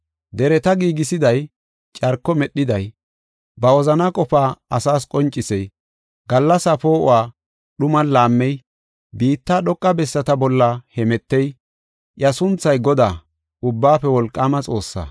Dereta giigisiday, carko medhiday, ba wozana qofaa asas qoncisey, gallasa poo7uwa dhuman laammey, biitta dhoqa bessata bolla hemetey, iya sunthay Godaa, Ubbaafe Wolqaama Xoossaa.